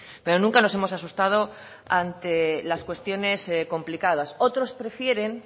pero nunca nos hemos asustado ante las cuestiones complicadas otros prefieren